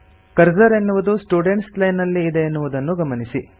cursor ಎನ್ನುವುದು students line ನಲ್ಲಿ ಇದೆ ಎನ್ನುವುದನ್ನು ಗಮನಿಸಿ